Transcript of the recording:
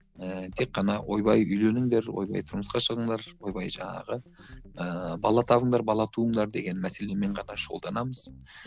ііі тек қана ойбай үйленіңдер ойбай тұрмысқа шығыңдар ойбай жаңағы ыыы бала табыңдар бала туыңдар деген мәселемен ғана шұғылданамыз